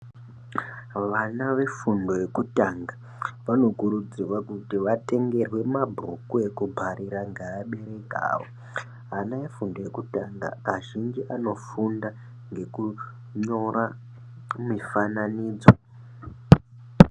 Vana vefundo yekutanga vanokurudzirwa kuti vatengerwe mabhuku eku bharira ngeabereki awo ana efundo yekutanga azhinji anofunda ngekunyora mifananidzo.